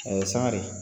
A ye sangare